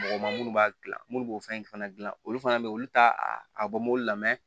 Mɔgɔ ma minnu b'a dilan minnu b'o fɛn fana gilan olu fana bɛ olu t'a a bɔ mobili la mɛ